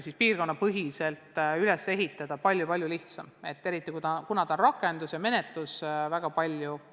Seda võrku on üles ehitada palju lihtsam, eriti, kui arvestada teenuste rakendust ja taotluste menetlust.